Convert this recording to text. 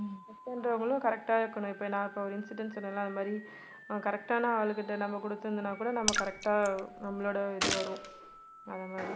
check பண்றவங்களும் correct ஆ இருக்கணும் இப்ப நான் இப்ப ஒரு incident சொன்னேன் இல்ல அது மாதிரி correct ஆன ஆளு கிட்ட நம்ம குடுத்திருந்தனாகூட நம்ம correct ஆ நம்மளோட இது வரும் அந்த மாதிரி